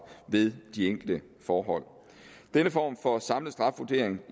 ved de enkelte forhold denne form for samlet strafvurdering